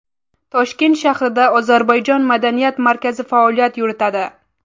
Toshkent shahrida ozarbayjon madaniyat markazi faoliyat yuritadi.